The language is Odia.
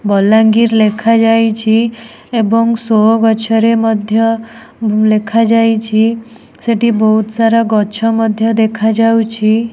ବଲାଙ୍ଗୀର୍ ଲେଖା ଯାଇଛି ଏବଂ ଶୋ ଗଛରେ ମଧ୍ୟ ଲେଖା ଯାଇଛି ସେଠି ବହୁତ୍ ସାରା ଗଛ ମଧ୍ୟ ଦେଖା ଯାଉଛି।